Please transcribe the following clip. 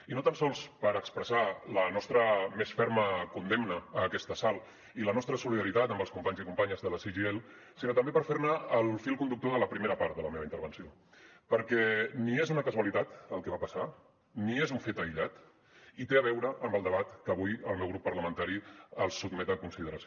i no tan sols per expressar la nostra més ferma condemna a aquest assalt i la nostra solidaritat amb els companys i companyes de la cgil sinó també per fer ne el fil conductor de la primera part de la meva intervenció perquè ni és una casualitat el que va passar ni és un fet aïllat i té a veure amb el debat que avui el meu grup parlamentari els sotmet a consideració